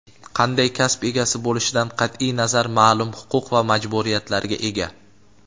qanday kasb egasi bo‘lishidan qat’iy nazar ma’lum huquq va majburiyatlarga ega.